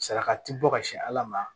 Saraka ti bɔ ka se ala ma